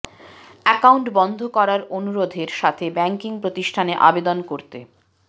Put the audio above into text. account বন্ধ করার অনুরোধের সাথে ব্যাংকিং প্রতিষ্ঠানে আবেদন করতে